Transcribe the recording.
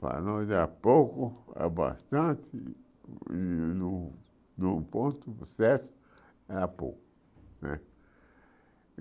Para nós era pouco, era bastante, e num num ponto certo, era pouco né.